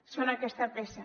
són aquesta peça